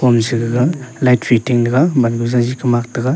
gaga light fitting tega mangu jalji kamak tega.